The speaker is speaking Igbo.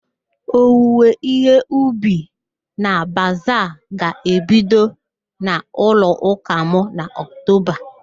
Owiwe ihe ubi na bazaa ga-ebido n'ụlọụ́kà m na Oktoba